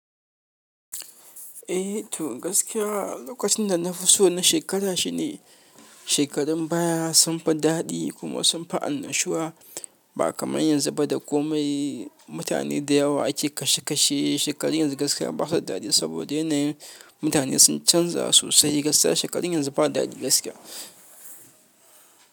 Eh to gaskiya lokacin da na fi so na shekara shi ne shekarun baya sunfi daɗi kuma sunfi annashuwa ba kamar yanzu ba da komai mutane da yawa ake kashe kashe shekarun yanzu gaskiya basu daɗe saboda yanayin mutane sun canza sosai gaskiya shekarun yanzu ba daɗi gaskiya.